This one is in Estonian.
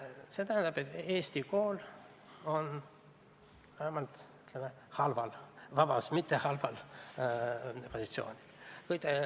See tähendab, et Eesti kool on vähemalt, ütleme, mitte halval positsioonil.